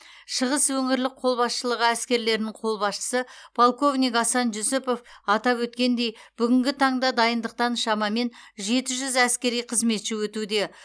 шығыс өңірлік қолбасшылығы әскерлерінің қолбасшысы полковник асан жүсіпов атап өткендей бүгінгі таңда дайындықтан шамамен жеті жүз әскери қызметші өтуде